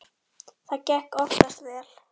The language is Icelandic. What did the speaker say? Það gekk oftast vel.